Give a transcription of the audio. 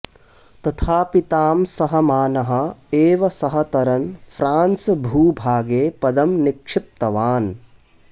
तथापि तां सहमानः एव सः तरन् फ्रान्स् भूभागे पदं निक्षिप्तवान्